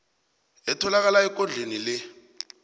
etholakala ekondlweni le